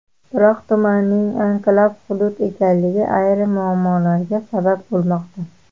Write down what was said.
Biroq tumanning anklav hudud ekanligi ayrim muammolarga sabab bo‘lmoqda.